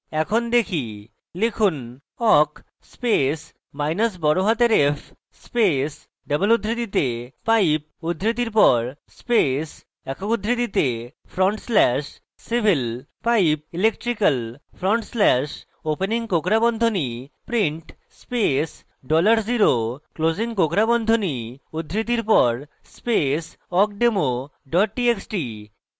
এখন দেখি লিখুন awk space মাইনাস বড়হাতের f space double উদ্ধৃতিতে pipe উদ্ধৃতির পর space awk উদ্ধৃতিতে front slash civil pipe electrical front slash opening কোঁকড়া বন্ধনী print space dollar0 closing কোঁকড়া বন্ধনী উদ্ধৃতির পর space awkdemo double txt